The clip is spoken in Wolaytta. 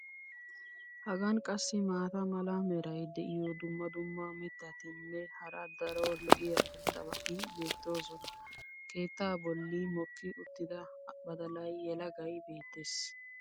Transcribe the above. Hagan qassi maata mala meray diyo dumma dumma mitatinne hara daro lo'iya irxxabati beetoosona. keettaa boli mokki uttida badalay yelagay beetees.